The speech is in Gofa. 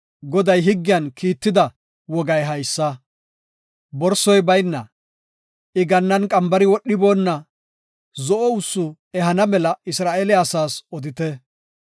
“Goday higgiyan kiitetida wogay haysa; borsoy bayna, I gannan qambari wodhiboonna zo7o ussu ehana mela Isra7eele asaas odite.